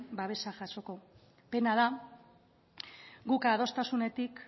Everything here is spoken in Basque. babesa jasoko pena da guk adostasunetik